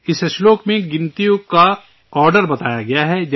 اس شلوک میں اعداد کی ترتیب بتائی گئی ہے